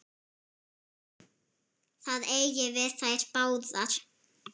Það eigi við þær báðar.